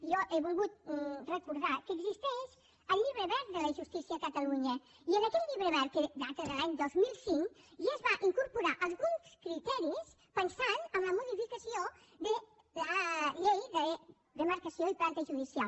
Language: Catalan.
jo he volgut recordar que existeix el llibre verd de la justícia a catalunya i en aquest llibre verd que data de l’any dos mil cinc ja es van incorporar alguns criteris pensant en la modificació de la llei de demarcació i planta judicial